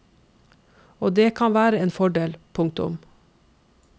Og det kan være en fordel. punktum